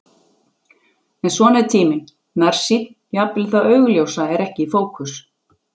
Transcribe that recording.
En svona er tíminn nærsýnn, jafnvel það augljósa er ekki í fókus.